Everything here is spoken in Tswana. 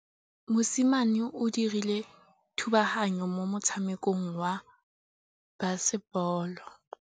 Mosimane o dirile thubaganyô mo motshamekong wa basebôlô.